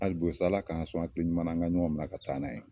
Alibi o sa Ala ka sɔn hakili ɲuman na an ka ɲɔn mina ka taa n'a ye